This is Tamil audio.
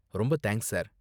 ரொம்ப தேங்க்ஸ், சார்.